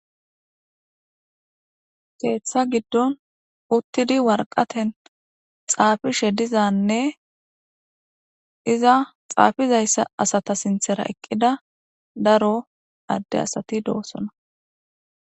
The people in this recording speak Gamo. Keeththa giddon uttidi warqaten xaafishe dizanne iza xaafizayssa asata sinthera eqqida daro adde asati doosona.